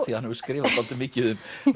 því hann hefur skrifað dálítið mikið um